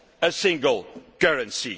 a single currency.